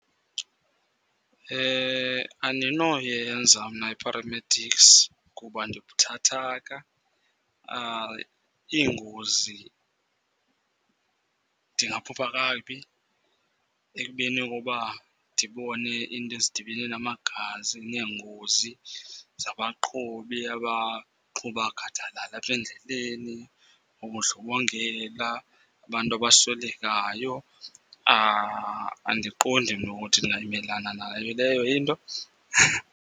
Andinoyenza mna i-paramedics kuba ndibuthathaka. Iingozi ndingaphupha kakubi ekubeni koba ndibone iinto ezidibene namagazi, neengozi zabaqhubi abaqhuba gadalala apha endleleni. Nobundlobongela, abantu abaswelekayo andiqondi mna ukuthi ndingamelana nayo leyo into.